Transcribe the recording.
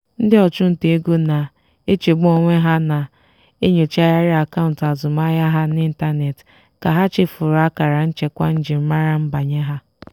ndị ọchụnta ego na-echegbu onwe ha na-enyochagharị akaụntụ azụmaahịa ha n'ịntanetị ka ha chefuru akara nchekwa njirimara nbanye ha.